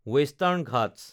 western Ghats